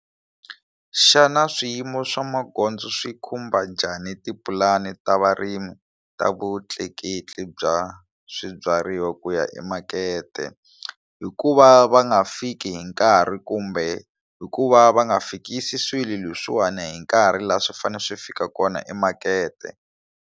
Xana swiyimo swa magondzo swi khumba njhani tipulani ta varimi ta vutleketli bya swibyariwa ku ya emakete hikuva va nga fiki hi nkarhi kumbe hikuva va nga fikisi swilo leswiwani hi nkarhi laha swi fanele swi fika kona emakete.